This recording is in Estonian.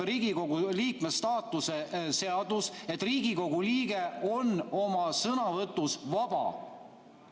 Riigikogu liikme staatuse seadus ütleb, et Riigikogu liige on oma sõnavõtus vaba.